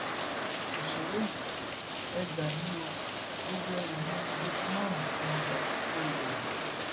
ọsẹrẹ yìí e gbà mí o gbogbo ẹrù mi ní gẹtìmánú tí mo gbà tí kò lò ó